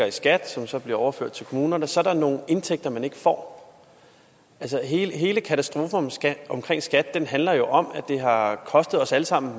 i skat som så bliver overført til kommunerne så er der nogle indtægter man ikke får altså hele hele katastrofen omkring skat handler jo om at det har kostet os alle sammen